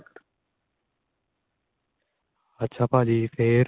ਅੱਛਾ ਭਾਜੀ ਫੇਰ